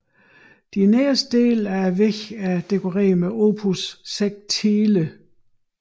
De nederste dele af væggene er dekoreret med opus sectile